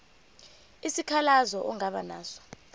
isikhalazo ongaba naso